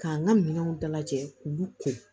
K'an ka minɛnw dalajɛ k'u ko